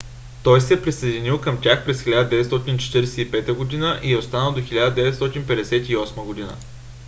той се е присъединил към тях през 1945 г. и е останал до 1958 г